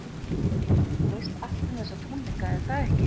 Heimir, þú veist allt um þessa tónleika, er það ekki?